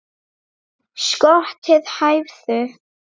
Skotin hæfðu!